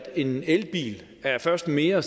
en elbil først er mere